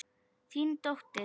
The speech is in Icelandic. Þín dóttir, Hanna Hlín.